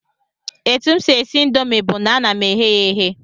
Etu m si esi indomi bụ na ana m eghe ya eghe